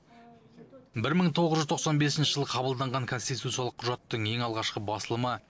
бір мың тоғыз жүз тоқсан бесінші жылы қабылданған конституциялық құжаттың ең алғашқы басылымы